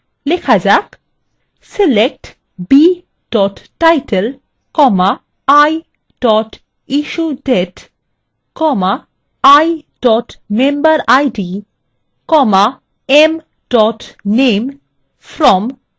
select b title i issuedate i memberid m name